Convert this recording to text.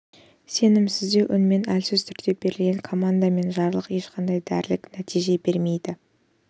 сенімсіздеу үнмен әлсіз түрде берілген команда мен жарлық ешқандай дерлік нәтиже бермейді